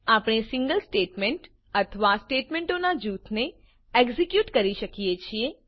આપણે single statement અથવા સ્ટેટમેંટોનાં જૂથને એક્ઝેક્યુટ કરી શકીએ છીએ